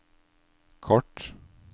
kort